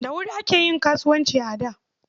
Da wuri ake yin kasuwanci a da.